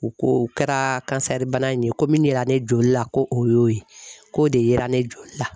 U ko u kɛra bana in ye, ko min yera ne joli la ko o y'o ye, k'o de yera ne joli la.